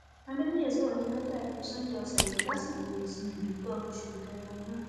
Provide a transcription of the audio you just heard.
adéboye sọrọ yìí lọjọ àìkú sannda ọsẹ yìí lásìkò ìsìn ìdúpẹ oṣù kẹrin ọdún